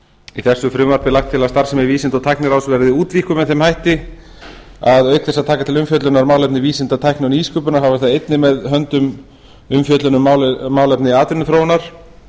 í þessu frumvarpi er lagt til að starfsemi vísinda og tækniráðs verði útvíkkuð með þeim hætti að auk þess að taka til umfjöllunar málefni vísinda tækni og nýsköpunar hafi það einnig með höndum umfjöllun um málefni atvinnuþróunar